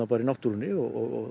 bara í náttúrunni og